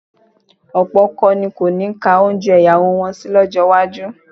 Ọ̀pọ̀ ọkọ ni kò ní ka oúnjẹ ìyàwó wọn sí lọ́jọ́ iwájú